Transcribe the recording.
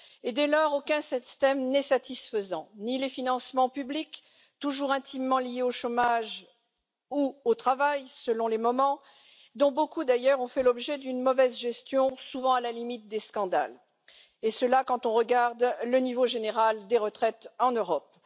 Dès lors, aucun système n'est satisfaisant ni les financements publics, toujours intimement liés au chômage ou au travail, selon les moments, dont beaucoup d'ailleurs ont fait l'objet d'une mauvaise gestion, souvent à la limite des scandales, quand on regarde le niveau général des retraites en Europe